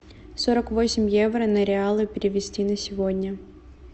сорок восемь евро на реалы перевести на сегодня